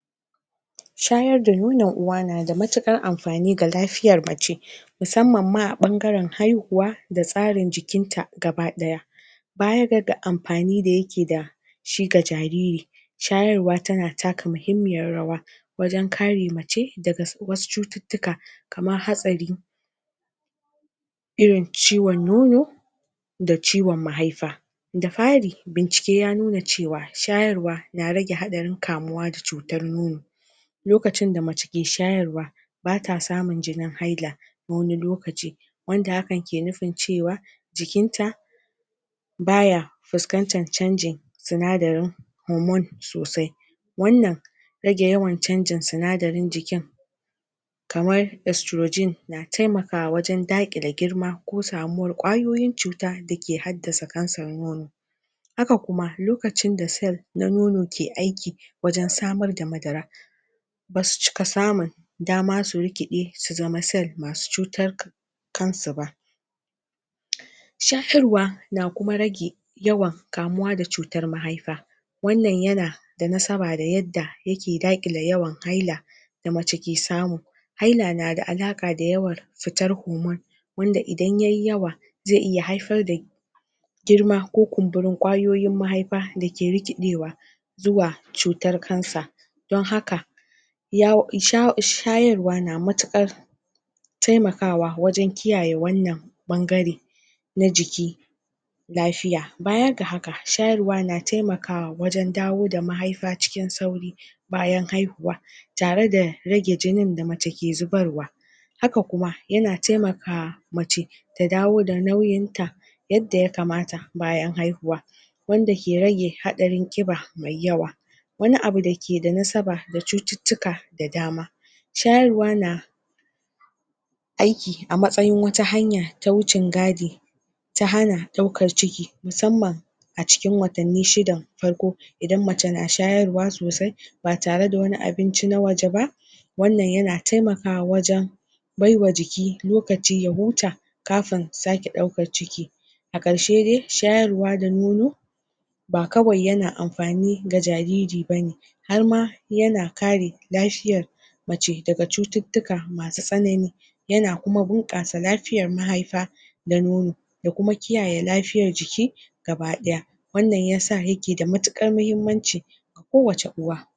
shayar da nonon uwa na da matu ƙar amfani ga lafiyar mace musamman ma a ɓangaran haihuwa da tsarin jikinta gaba ɗaya baya ga amfani da yake dashi ga jariri shayarwa tana taka muhimmiyar rawa wajan kare mace daga wasu cututtukan kamar haka irin ciwan nono da ciwan mahaifa da fari bincike yanuna cewa shayarwa na rage haɗarin kamuwa da cutar nono lokacin da mace ke shayarwa bata samun jinin haila na wani lokaci wanda hakan ke nufin cewa jikinta baya fuskantan canjin sinadarin hormone sosai wannan rage yawan canjin sinadarin jikin kamar estrogen na taimakawa wajan da ƙile girma ko samuwar ƙwayoyin cuta dake haddasa kansar nono haka kuma lokacin da cell na nono ke aiki wajan samar da madara basu cika samun dama su rikeɗe su zama cell masu cutar kansu ba shararwa na kuma rage yawan kamuwa da cutar mahaifa wannan yana da nasaba da yadda yake daƙile yawan haila da mace ke samu na da alaƙa da yawan fitar hormone wanda idan yayi yawa zai iya haifar da girma ko kunburin ƙwayoyin mahaifa dake rikiɗewa zuwa cutar cancer don haka shayarwa na matuƙar taimakawa wajan kiyaye wannan ɓangare na jiki lafiya baya ga haka shayarwa na taimakawa wajan dawo da mahaifa cikin sauri bayan haihuwa tare da rage jinin da mace ke zubarwa haka kuma yana taimaka mace ta dawo da nauyinta yadda ya kamata bayan haihuwa wanda ke rage haɗarin ƙiba mai yawa wani abu dake da nasaba da cututtuka da dama shayarwa na aiki a matsayin wata hanya ta wucin gadi ta hana ɗaukar ciki musamman a cikin watanni shidan farko idan mace na shayarwa sosai ba tare da wani abinci na waje ba wannan yana taimakawa wajan baiwa jiki lokaci ya huta kafin sake ɗaukar ciki a ƙarshe dai shayarwa da nono ba kawai yana amfani ga jariri bane harma yana kare lafiyar mace daga cututtuka masu tsanani yana kuma bunƙasa lafiyar mahaifa da nono da kuma kiyaye lafiyar jiki gaba ɗaya wannan yasa yake da matuƙar mahimmanci ko wacce uwa